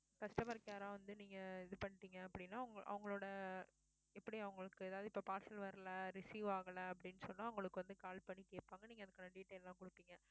customer care அ வந்து நீங்க இது பண்ணிட்டீங்க அப்படின்னா அவங்~ அவங்களோட எப்படி அவங்களுக்கு அதாவது இப்ப parcel வரலை receive ஆகலை அப்படின்னு சொன்னா உங்களுக்கு வந்து call பண்ணி கேப்பாங்க நீங்க அதுக்கான detail லாம் குடுப்பீங்க